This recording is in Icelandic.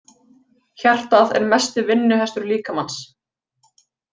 Hjartað er mesti vinnuhestur líkamans.